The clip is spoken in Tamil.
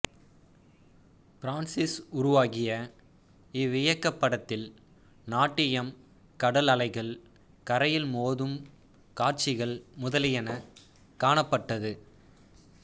பிரான்சிஸ் உருவாக்கிய இவ்வியக்கப் படத்தில் நாட்டியம் கடல் அலைகள் கரையில் மோதும் காட்சிகள் முதலியன காணப்பட்டது